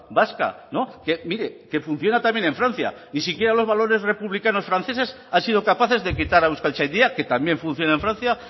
vasca mire que funciona también en francia ni siquiera los valores republicanos franceses han sido capaces de quitar a euskaltzaindia que también funciona en francia